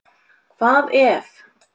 Hvað ef?